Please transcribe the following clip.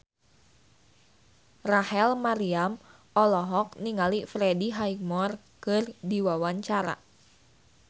Rachel Maryam olohok ningali Freddie Highmore keur diwawancara